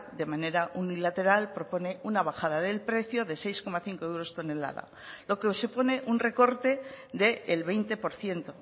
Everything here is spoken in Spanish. de manera unilateral propone una bajada del precio de seis coma cinco euros tonelada lo que supone un recorte del veinte por ciento